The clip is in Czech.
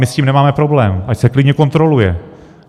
My s tím nemáme problém, ať se klidně kontroluje.